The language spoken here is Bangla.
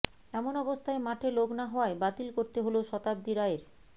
এমন অবস্থায় মাঠে লোক না হওয়ায় বাতিল করতে হল শতাব্দী রায়ের